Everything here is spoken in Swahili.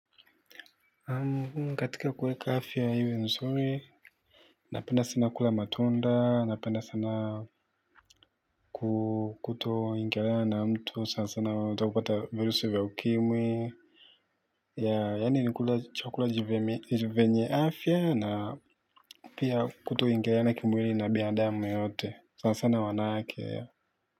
Katika kuweka afya iwe nzuri napenda sana kula matunda napenda sana kuto ongelea na mtu sana sana watakupata virusi vya ukimwi yaani nikula chakula jivenye afya na pia kuto ingiliana kimwili na binadamu yoyote sana sana wanawake.